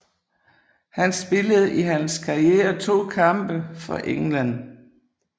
Han spillede i hans karriere 2 kampe for England